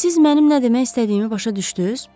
Siz mənim nə demək istədiyimi başa düşdünüz?